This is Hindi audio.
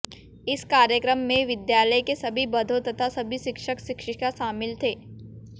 इस कार्यक्रम मे विद्यालय के सभी बधो तथा सभी शिक्षक शिक्षिका शामिल थे